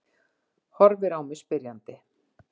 Horfir á mig spyrjandi.